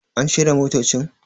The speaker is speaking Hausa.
An shirya motocin?